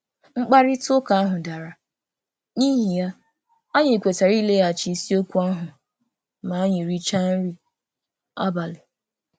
Mkparịta ụka ahụ dara, n'ihi ya, anyị kwetara ileghachi isiokwu ahụ ma anyị richaa nri abalị.